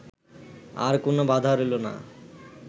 আর কোন বাধা রইল না